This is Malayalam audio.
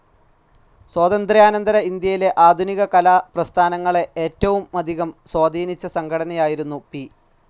സ്വാതന്ത്ര്യാനന്തര ഇന്ത്യയിലെ ആധുനിക കലാ പ്രസ്ഥാനങ്ങളെ ഏറ്റവുമധികം സ്വാധീനിച്ച സംഘടനയായിരുന്നു പി.